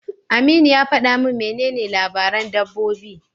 Aminu ya faɗa min menene labaran dabbobi.